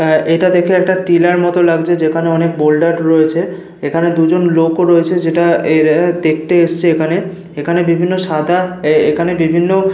আহ এটা দেখে একটা টিলার মতো লাগছে যেখানে অনেক বোল্ডার রয়েছে। এখানে দুজন লোক ও রয়েছে যেটা এরা দেখতে এসছে এখানে। এখানে বিভিন্ন সাদা আহ এখানে বিভিন্ন --